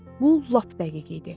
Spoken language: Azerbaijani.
Bu lap dəqiq idi.